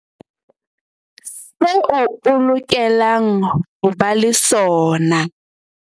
Seo o lokelang ho ba le sona